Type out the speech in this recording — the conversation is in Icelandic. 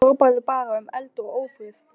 Hrópaði bara um eld og ófrið.